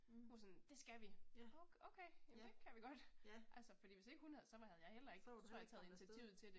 Hun var sådan det skal vi! Okay, jamen det kan vi godt, altså fordi hvis ikke hun havde så var havde jeg heller ikke tror jeg taget initiativet til det